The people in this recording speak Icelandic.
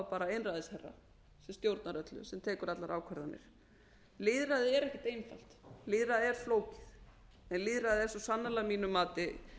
bara einræðisherra sem stjórnar öllu sem tekur allar ákvarðanir lýðræðið er ekkert einfalt lýðræðið er flókið en lýðræðið er svo sannarlega að mínu mati